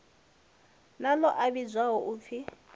na ḽo a vhidzwaho upfi